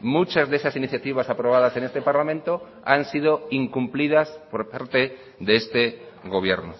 muchas de esas iniciativas aprobadas en este parlamento han sido incumplidas por parte de este gobierno